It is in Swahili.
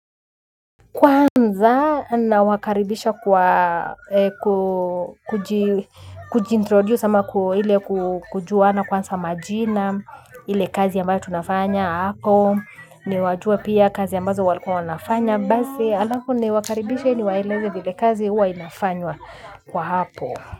Kwanza na wakaribisha kujintroduce ama kujua na kwanza majina. Ile kazi ambayo tunafanya hapo ni wajua pia kazi ambazo walikuwa wanafanya, bazi alafu niwakaribishe ni waeleze vile kazi uwa inafanywa kwa hapo.